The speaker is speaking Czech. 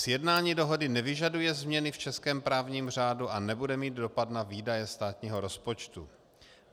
Sjednání dohody nevyžaduje změny v českém právním řádu a nebude mít dopad na výdaje státního rozpočtu.